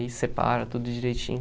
Aí separa tudo direitinho.